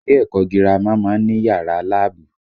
Ilé ẹ̀kọ́ gírámà má ń ní yàrá láàbù